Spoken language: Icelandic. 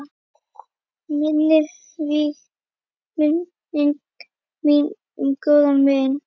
Minning mín um góðan vin.